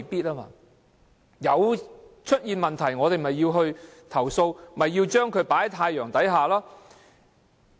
有問題出現時，我們就要調查，把問題放在太陽之下。